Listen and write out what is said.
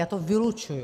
Já to vylučuji.